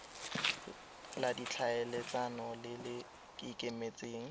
la ditlhaeletsano le le ikemetseng